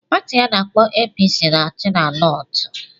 Pati ana-akpo APC na-achị na Nortu.